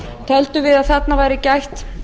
töldum við að þarna væri gætt